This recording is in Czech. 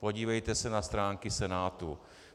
Podívejte se na stránky Senátu.